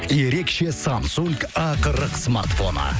ерекше самсунг а қырық смартфоны